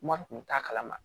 Mɔ kun t'a kalama